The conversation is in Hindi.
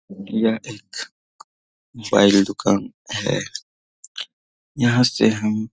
यह एक बैल दुकान है यहां से हम --